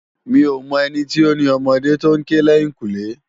Mi ó mò èni ti ó ni òmòdé tó n ké lèyinkúnlé